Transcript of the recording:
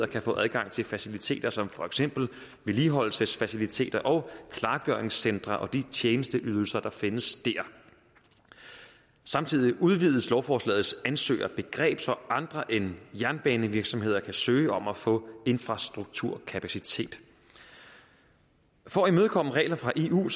kan få adgang til faciliteter som for eksempel vedligeholdelsesfaciliteter og klargøringscentre og de tjenesteydelser der findes der samtidig udvides lovforslagets ansøgerbegreb så andre end jernbanevirksomheder kan søge om at få infrastrukturkapacitet for at imødekomme regler fra eu